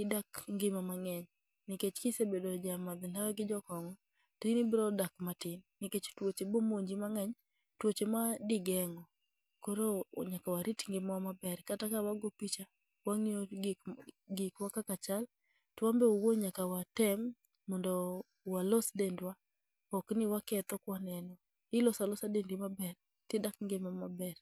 idak ngima maber. Nikech kise bedo jamadh ndawa gi jokong'o, to in ibro dak matin. Nikech tuoche bomonji mang'eny, tuoche ma digeng'o. Koro nyaka warit ngima wa maber, kata ka wago picha, wang'iyo gikwa kaka chal. To wanbe owuon nyaka watem mondo walos dendwa, okni waketho kwaneno. Ilosa losa dendi maber, tidak ngima maber.